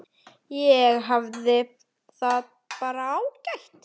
Ég hafði það bara ágætt.